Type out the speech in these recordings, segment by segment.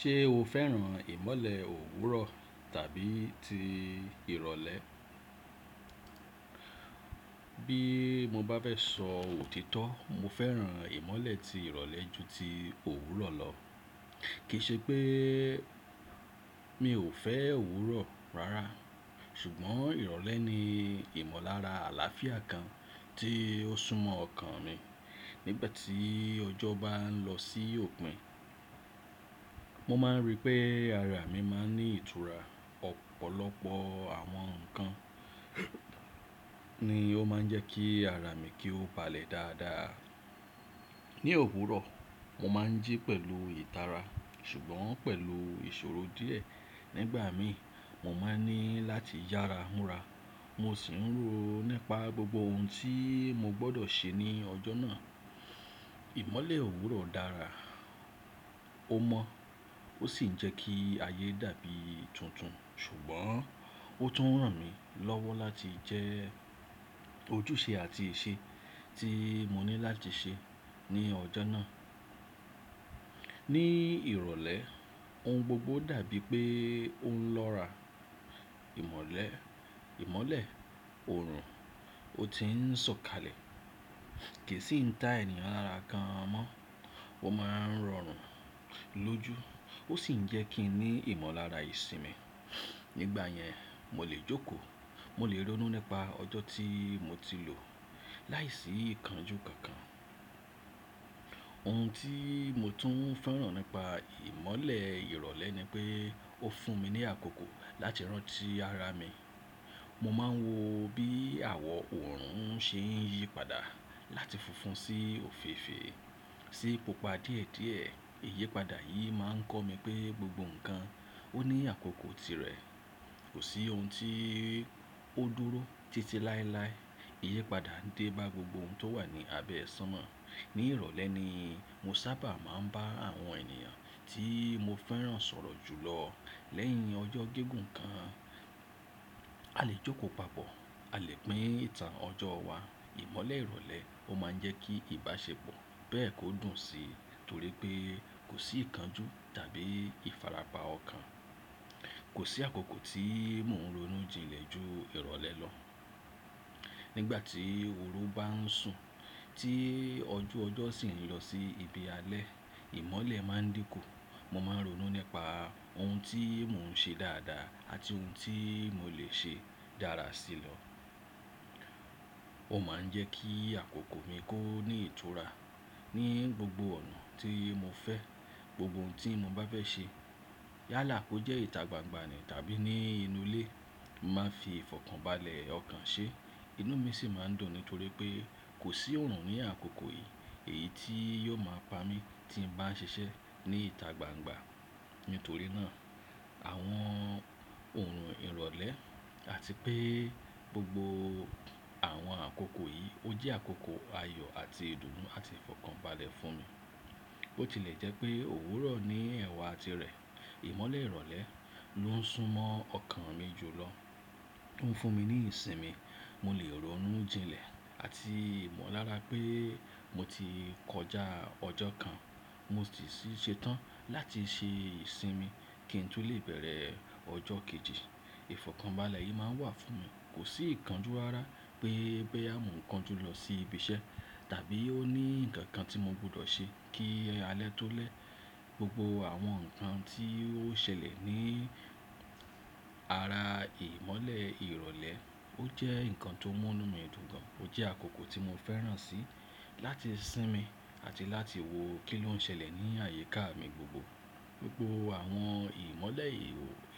Ṣé o fẹ́ràn ìmọ́lẹ̀ òwúrọ̀ tàbí ti ìrọ̀lẹ́? Bí mo bá fẹ́ sọ òtítọ́, mo fẹ́ràn ìmọ́lẹ̀ ti ìrọ̀lẹ́ jù ti òwúrọ̀ lọ. Kì í ṣe pé mi ò fẹ́ òwúrọ̀ rárá, ṣùgbọ́n ìrọ̀lẹ́ ni ìmọ̀lára àlàáfíà kan tí ó sún mọ́ ọkàn mi nígbà tí ọjọ́ bá ń lọ sí òpin. Mo máa ń rí pé ara mi máa ń ní ìtura. Ọ̀pọ̀lọpọ̀ àwọn ǹkan ni ó máa ń jẹ́ kí ara mi kí ó balẹ̀ dáadáa. Ní òwúrọ̀, mo máa ń jí pẹ̀lú ìtara ṣùgbọ́n pẹ̀lú ìṣòro díẹ̀. Nígbà mi, mo máa ń ní láti yára múra, mo sì ń rò ó nípa gbogbo ohun tí mo gbọdọ̀ ṣe ní ọjọ́ náà. Ìmọ́lẹ̀ òwúrọ̀ dára, ó mọ́, ó sì ń jẹ́ kí ayé dàbí tuntun ṣùgbọ́n ó tún ràn mí lọ́wọ́ láti jẹ ojúṣe àti ìṣe tí mo ní láti ṣe ní ọjọ́ náà. Ní ìrọ̀lẹ́, ohun gbogbo dàbí pé ó ń lọ́ra. Ìmọ́lẹ̀, ìmọ́lẹ̀, òrùn, ó ti ń sọ̀kalẹ̀. Kì sì ń ta ènìyàn lára kan mọ́. Wọ́n máa ń rọrùn lójú, ó sì ń jẹ́ kí n ní ìmọ̀lára ìsinmi. Nígbà yẹn, mo lè jókòó, mo lè ronú nípa ọjọ́ tí mo ti lò láìsí ìkánjú kankan. Ohun tí mo tún ń fẹ́ràn nípa ìmọ́lẹ̀ ìrọ̀lẹ́ ni pé ó fún mi ní àkókò láti rántí ara mi. Mo máa ń wo bí àwọ òrùn ṣe ń yípadà láti funfun sí òféfée sí pupa díẹ̀díẹ̀. Iyípadà yì máa ń kọ́ mi pé gbogbo ǹkan ó ní àkókò tirẹ̀. Kò sí ohun tí ó dúró títí láéláé. Iyípadà ń dé bá gbogbo ohun tó wà ní abẹ́ sánmo. Ní ìrọ̀lẹ́ ni mo sábà máa ń bá àwọn ènìyàn tí mo fẹ́ràn sọ̀rọ̀ jù lọ lẹ́yìn ọjọ́ gígùn kan. A lè jókò papọ̀, a lè pín ìtàn ọjọ́ wa. Ìmọ́lẹ̀ ìrọ̀lẹ́ ó máa ń jẹ́ kí ìbáṣepọ̀ bẹ́ẹ̀ kó dùn sí torí pé kò sí ìkánjú tàbí ìfarapa ọ̀kan. Kò sí àkókò tí mò ń ronú jinlẹ̀ jù ìrọ̀lẹ́ lọ. Nígbà tí òru bá ń sùn tí ọjú ọjọ́ sì ń lọ sí ibi alẹ́, ìmọ́lẹ̀ máa ń dínkù. Mo máa ń ronú nípa ohun tí mò ń ṣe dáadáa àti ohun tí mo lè ṣe dára sí lọ. Ó máa ń jẹ́ kí àkókò mi kó ní ìtura ní gbogbo ọ̀nà tí mo fẹ́. Gbogbo ohun tí mo bá fẹ́ ṣe. Yálà kó jẹ́ ìta gbangba ni tàbí ní inú ilé, mo máa fi ìfọ̀kànbalẹ̀ ọkàn ṣe, inú mi sì máa dùn nítorí pé kò sí òrùn ní àkókò yì èyí tí yóò máa pa mí tí n bá ń ṣiṣẹ́ ní ìta gbangba. Nítorí náà, àwọn òrùn ìrọ̀lẹ́ àti pé gbogbo àwọn àkókò yì ó jẹ́ àkókò ayọ̀ àti ìdùnnú àti ìfọ̀kànbalẹ̀ fún mi. Ó tilẹ̀ jẹ́ pé òwúrọ̀ ní ẹ̀wà tirẹ̀. Ìmọ́lẹ̀ ìrọ̀lẹ́ ló ń sún mọ́ ọkàn mi jù lọ, ó ń fún mi ní ìsinmi, mo lè ronú jinlẹ̀ àti ìmọ̀lára pé mo ti kọjá ọjọ́ kan, mo sì ṣetán láti ṣe ìsinmi kí n tún lè bẹ̀rẹ̀ ọjọ́ kejì. Ìfọ̀kànbalẹ̀ yì máa ń wà fún mi. Kò sí ìkánjú rárá pé pé boyo mo kan ju lọ sí ibi iṣẹ́ tàbí ó ní ǹkan kan tí mo gbọdọ̀ ṣe kí alẹ́ tó lẹ́. Gbogbo àwọn ǹkan tí ó ṣẹlẹ̀ ní ara ìmọ́lẹ̀ ìrọ̀lẹ́ ó jẹ́ ǹkan tó mú inú mi dùn gan. Ó jẹ́ àkókò tí mo fẹ́ràn sí láti sinmi àti láti wo kí ló ń ṣẹlẹ̀ ní àyíká mi gbogbo. Gbogbo àwọn ìmọ́lẹ̀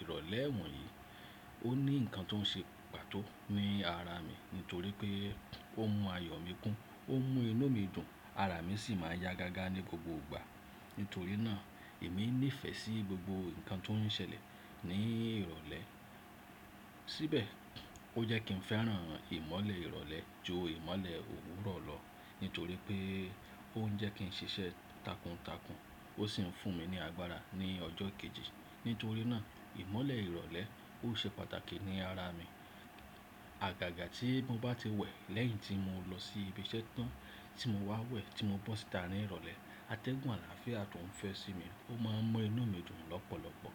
ìrọ̀lẹ́ ẹ̀wọ̀n yì ó ní ǹkan tó ń ṣe pàtó ní ara mi nítorí pé ó mú ayọ̀ mi kún, ó mú inú mi dùn, ara mi sì máa yá gágá ní gbogbo ìgbà. Nítorí náà, èmi nífẹ́ sí gbogbo ǹkan tó ń ṣẹlẹ̀ ní ìrọ̀lẹ́. Síbẹ̀ ó jẹ́ kí n fẹ́ràn ìmọ́lẹ̀ ìrọ̀lẹ́ jù ìmọ́lẹ̀ òwúrọ̀ lọ nítorí pé ó ń jẹ́ kí n ṣiṣẹ́ takuntakun ó sì ń fún mi ní agbára ní ọjọ́ kejì. Nítorí náà, ìmọ́lẹ̀ ìrọ̀lẹ́ ó ṣe pàtàkì ní ara mi. Àgàgà tí mo bá ti wẹ̀ lẹ́yìn tí mo lọ sí ibi iṣẹ́ tán tí mo wá wẹ̀ tí mo bọ́ síta ní ìrọ̀lẹ́, atẹ́gùn àlàáfíà tó ń fẹ́ sí mi ó máa ń mú inú mi dùn lọ́pọ̀lọpọ̀.